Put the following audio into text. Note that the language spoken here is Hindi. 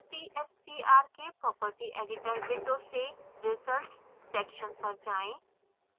cstr के property editor window से results section पर जाएँ